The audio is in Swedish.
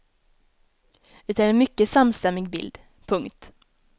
Det är en mycket samstämmig bild. punkt